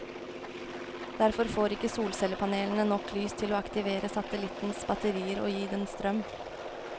Derfor får ikke solcellepanelene nok lys til å aktivere satellittens batterier og gi den strøm.